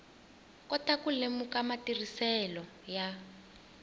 kota ku lemuka matirhiselo ya